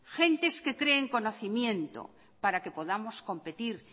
gentes que creen conocimiento para que podamos competir